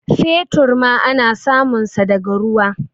fetur ma ana sumunsa daga ruwa